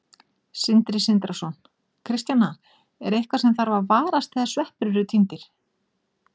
Sindri Sindrason: Kristjana, er eitthvað sem þarf að varast þegar sveppir eru tíndir?